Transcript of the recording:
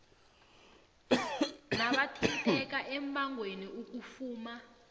nabathinteka embangweni ukufuma